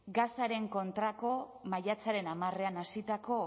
gazaren kontrako maiatzaren hamarean hasitako